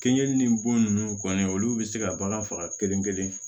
Kɛnyani bon nunnu kɔni olu be se ka bagan faga kelen kelen